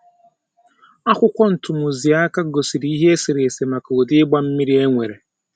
Akwụkwọ ntumụziaka gosipụtara ihe eserese maka ụdị ịgba mmiri e nwere.